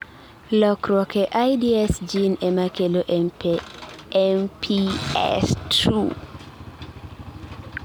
lokruok e IDS gene emakelo MPS II